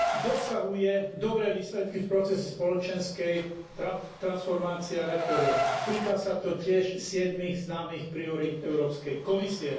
Dosahuje dobré výsledky v procese spoločenskej transformácie a reforiem, týka sa to tiež siedmych známych priorít Európskej komisie.